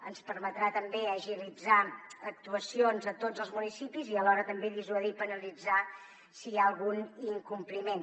ens permetrà també agilitzar actuacions a tots els municipis i alhora també dissuadir i penalitzar si hi ha algun incompliment